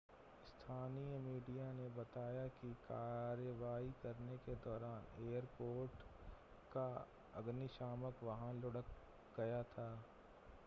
स्थानीय मीडिया ने बताया है कि कार्रवाई करने के दौरान एयरपोर्ट का अग्निशामक वाहन लुढ़क गया था